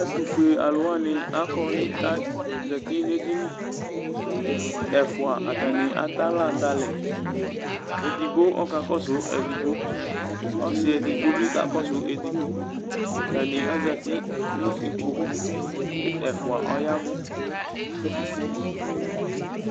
ɛtufue aluwani akɔ ne' azãti nu edini ɛfua atani atɛ aɣla du alɛedigbo ɔkakɔsu edigboɔsi edigbo bi kakɔsu edigboatani azãti nu ikpokuɛfua ɔyavʋ